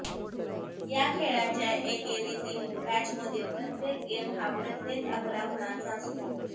या खेळाच्या एकेरीतील मॅचमधील प्रत्येक गेम हा प्रत्येकी अकरा गुणांचा असतो